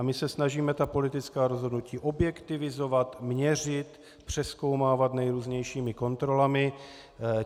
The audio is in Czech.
A my se snažíme ta politická rozhodnutí objektivizovat, měřit, přezkoumávat nejrůznějšími kontrolami.